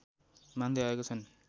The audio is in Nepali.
मान्दै आएका छन्